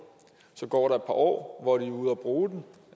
så går der år hvor de er ude og bruge den